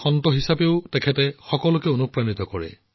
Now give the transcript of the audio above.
সন্ত হিচাপেও তেওঁ আমাৰ সকলোকে অনুপ্ৰাণিত কৰে